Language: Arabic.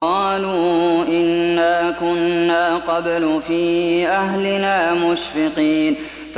قَالُوا إِنَّا كُنَّا قَبْلُ فِي أَهْلِنَا مُشْفِقِينَ